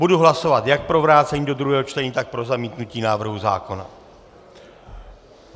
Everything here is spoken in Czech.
Budu hlasovat jak pro vrácení do druhého čtení, tak pro zamítnutí návrhu zákona.